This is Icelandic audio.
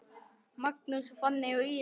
Magnús, Fanney og Íris.